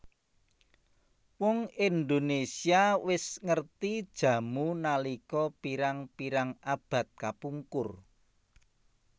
Wong Indonésia wis ngerti jamu nalika pirang pirang abad kapungkur